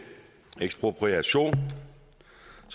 ekspropriation